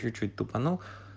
чуть-чуть тупанул